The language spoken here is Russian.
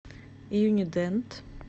юнидент